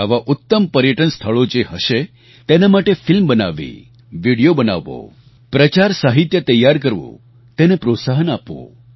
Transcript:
આવાં ઉત્તમ પર્યટન સ્થળો જે હશે તેના માટે ફિલ્મ બનાવવી વિડિયો બનાવવો પ્રચાર સાહિત્ય તૈયાર કરવું તેને પ્રોત્સાહન આપવું